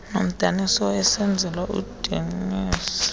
noomdaniso awayesenzelwa udionysos